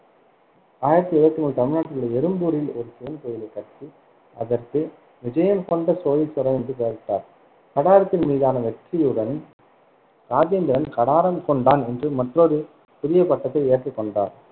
ஆயிரத்தி இருவத்தி மூணில் தமிழ்நாட்டில் உள்ள எறும்பூரில் ஒரு சிவன் கோயிலைக் கட்டி அதற்கு விஜயம் கொண்ட சோழேஸ்வரம் என்று பெயரிட்டார். கடாரத்தின் மீதான வெற்றியுடன், ராஜேந்திரன் கடாரம் கொண்டான் என்று மற்றொரு புதிய பட்டத்தை ஏற்றுக்கொண்டார்,